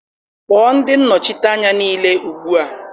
Kpọọ ndị nnọchiteanya niile ugbu a.